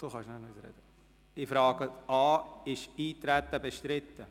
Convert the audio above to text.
Ist das Eintreten auf die Gesetzesänderung bestritten?